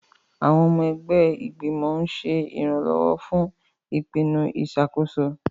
Àwọn ọmọ ẹgbẹ́ ìgbìmọ̀ ń ṣe ìrànlọ́wọ́ fún ìpinnu ìṣàkóso.